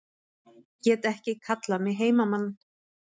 Get ekki kallað mig heimamann